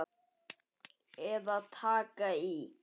Eða taka í.